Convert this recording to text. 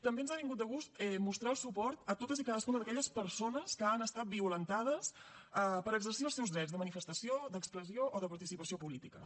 també ens ha vingut de gust mostrar el suport a totes i cadascuna d’aquelles persones que han estat violentades per exercir els seus drets de manifestació d’expressió o de participació polítiques